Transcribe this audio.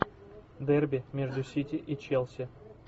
дерби между сити и челси